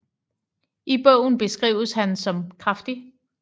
I bogen beskrives han som kraftig